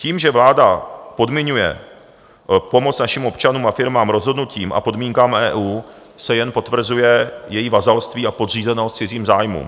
Tím, že vláda podmiňuje pomoc našim občanům a firmám rozhodnutím a podmínkám EU, se jen potvrzuje její vazalství a podřízenost cizím zájmům.